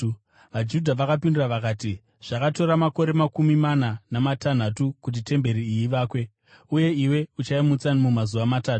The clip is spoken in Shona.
VaJudha vakapindura vakati, “Zvakatora makore makumi mana namatanhatu kuti temberi iyi ivakwe, uye iwe uchaimutsa mumazuva matatu?”